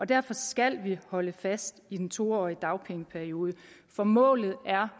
derfor skal vi holde fast i den to årige dagpengeperiode for målet